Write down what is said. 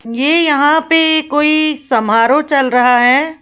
यह यहां पर कोई समारोह चल रहा है।